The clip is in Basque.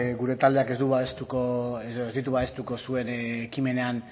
gure taldeak ez du babestuko edo ez ditu babestuko zuen ekimenean